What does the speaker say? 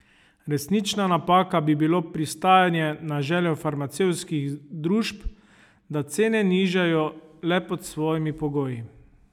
Resnična napaka bi bilo pristajanje na željo farmacevtskih družb, da cene nižajo le pod svojimi pogoji.